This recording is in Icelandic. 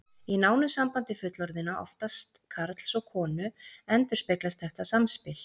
Í nánu sambandi fullorðinna, oftast karls og konu, endurspeglast þetta samspil.